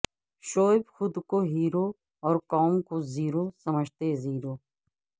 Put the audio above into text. شعیب خود کو ہیرو اور قوم کو زیرو سمجھتے ہ